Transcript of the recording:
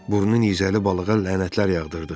Burnunizəli balığa lənətlər yağdırdı.